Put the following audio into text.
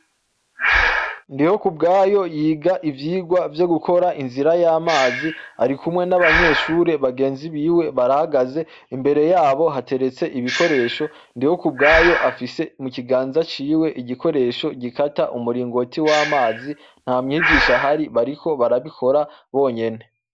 Ndiho ku bwayo yiga ivyigwa vyo gukora inzira y'amazi ari kumwe n'abanyeshure bagenzi biwe barahagaze imbere yabo hateretse ibikoresho ndiho kubwayo afise mu kiganza ciwe igikoresho gikata umuringoti w'amazi nta mwigisha hari bariko barabikora bonyene.